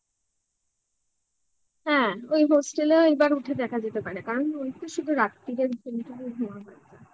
হ্যাঁ ওই hostel এ ও এবার উঠে দেখা যেতে পারে কারণ শুধু রাত্তিরেই ঘুমাবো